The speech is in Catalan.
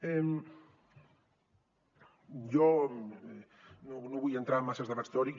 jo no vull entrar en masses debats teòrics